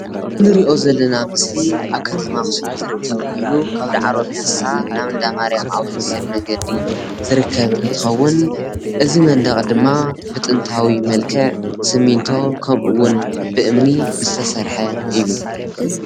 እዚ እንሪኦ ዘለና ምስሊ ኣብ ከተማ ኣክሱም ዝርከብ ኮይኑ ካብ ዳዕሮ ፕያሳ ናብ እንዳማርያም ዘውስድ መንገዲ ዝርከብ እንትከውን እዚ መንደቅ ድማ ብጥንታዊ መልክዕ ስሚንቶ ከምኡውን ብእምኒ ዝተሰርሐ እዩ፡፡